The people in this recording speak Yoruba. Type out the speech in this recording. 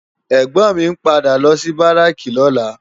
Ègbòn mi n pádà lò si báráki lòlá